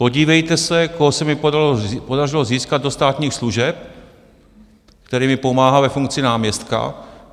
Podívejte se, koho se mi podařilo získat do státních služeb, který mi pomáhá ve funkci náměstka.